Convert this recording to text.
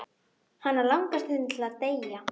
Hana langar stundum til að deyja.